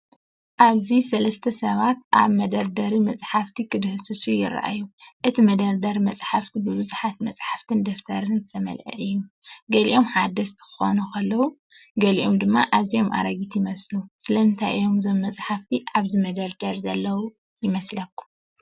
ኣብዚ ሰለስተ ሰባት ኣብ መደርደሪ መጻሕፍቲ ክድህስሱ ይረኣዩ። እቲ መደርደሪ መጻሕፍቲ ብብዙሓት መጻሕፍትን ደፍተርን ዝተመልአ እዩ፤ ገሊኦም ሓደስቲ ክኾኑ ከለዉ፡ ገሊኦም ድማ ኣዝዮም ኣረጊት ይመስሉ። ስለምንታይ እዮም እዞም መጻሕፍቲ ኣብዚ መደርደሪ ዘለዉ ይመስለኩም?